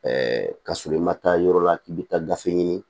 ka sɔrɔ i ma taa yɔrɔ la k'i bɛ taa gafe ɲini